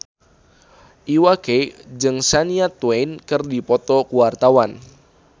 Iwa K jeung Shania Twain keur dipoto ku wartawan